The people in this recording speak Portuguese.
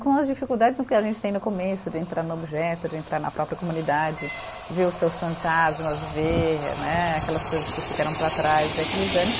Com as dificuldades no que a gente tem no começo, de entrar no objeto, de entrar na própria comunidade, ver os teus fantasmas, ver né aquelas coisas que ficaram para trás, ver aqueles anos.